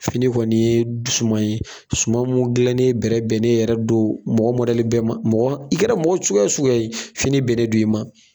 Fini kɔni ye suman ye suman mun dilannen bɛ bɛnnen yɛrɛ don mɔgɔ bɛɛ ma mɔgɔ i kɛra mɔgɔ suguya wo suguya ye fini bɛnen don i ma.